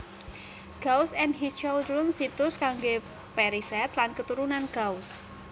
Gauss and His Children situs kanggé perisèt lan keturunan Gauss